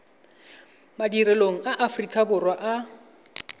madirelong a aforika borwa a